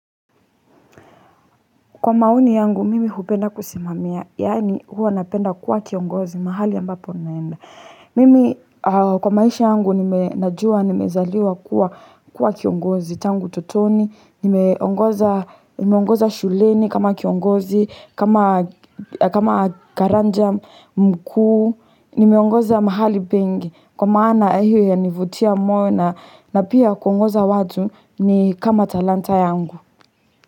Kwa maoni yangu mimi hupenda kusimamia, yani huwa napenda kuwa kiongozi mahali ambapo naenda. Mimi kwa maisha yangu nime najua, nimezaliwa kuwa kiongozi tangu utotoni, nimeongoza shuleni kama kiongozi, kama karanja mkuu, nimeongoza mahali pengi. Kwa maana ehi yanivutia moyo na pia kuongoza watu ni kama talanta yangu.